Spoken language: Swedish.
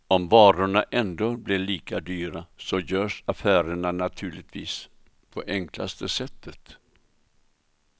Om varorna ändå blir lika dyra så görs affärerna naturligtvis på enklaste sättet.